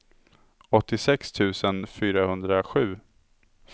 åttiosex tusen fyrahundrasju